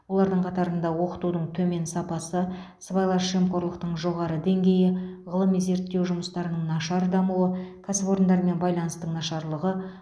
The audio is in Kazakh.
олардың қатарында оқытудың төмен сапасы сыбайлас жемқорлықтың жоғары деңгейі ғылыми зерттеу жұмыстарының нашар дамуы кәсіпорындармен байланыстың нашарлығы